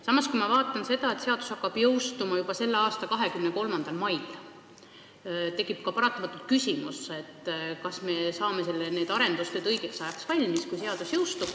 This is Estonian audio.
Samas, kui ma vaatan seda, et seadus jõustub juba selle aasta 23. mail, siis tekib paratamatult küsimus, kas me saame need arendused õigeks ajaks valmis.